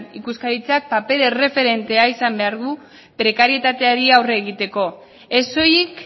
ikuskaritzak paper erreferentea izan behar du prekarietateari aurre egiteko ez soilik